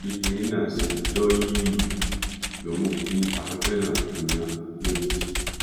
bí kinní náà ṣe jọ yìí ló mú kí afẹfẹ náà gbiná lójijì